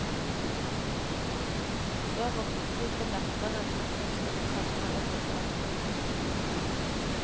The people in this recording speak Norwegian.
Så ropte de på datteren, at hun skulle komme og rydde opp.